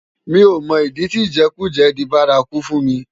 Mi ó mò idi ti ijèkújè di bàrákú fún mi